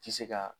Ti se ka